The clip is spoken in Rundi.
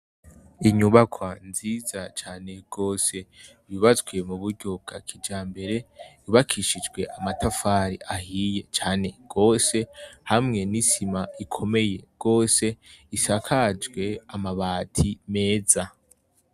Inyubakwa nziza cane gose yubatswe m'uburyo bwakijambere yubakishijwe amatafari ahiye cane gose hamwe n'isima ikomeye gose isakajwe amabati meza.